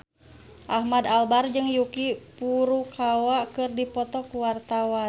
Ahmad Albar jeung Yuki Furukawa keur dipoto ku wartawan